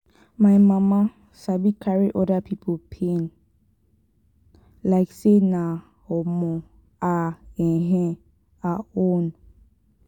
my mama sabi carry oda pipo pain like sey na um her um her own.